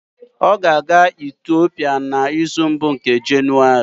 Ọ ga-aga Itiopia n'izu mbụ nke Jenụwarị